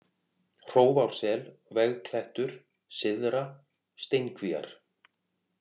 Hrófársel, Vegklettur, Syðra-, Steinkvíar